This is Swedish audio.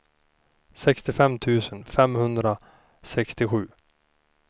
sextiofem tusen femhundrasextiosju